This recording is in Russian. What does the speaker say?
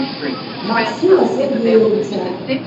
максима сергеевича